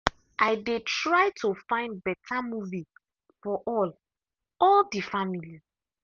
i dey try to find beta movie for all all the family.